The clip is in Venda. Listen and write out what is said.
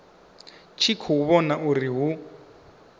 tshi khou vhona uri hu